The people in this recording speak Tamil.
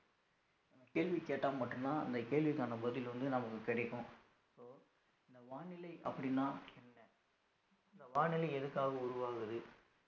கேள்வி கேட்டா மட்டும்தான் அந்த கேள்விக்கான பதில் வந்து நமக்கு கிடைக்கும் so அந்த வானிலை அப்படின்னா என்ன இந்த வானிலை எதுக்காக உருவாகுது